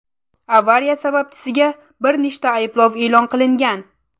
Avariya sababchisiga bir nechta ayblov e’lon qilingan.